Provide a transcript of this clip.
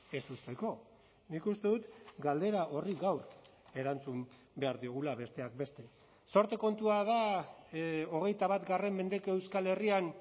ez uzteko nik uste dut galdera horri gaur erantzun behar digula besteak beste zorte kontua da hogeita bat mendeko euskal herrian